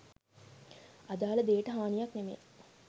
අදාල දේට හානියක් නෙමේ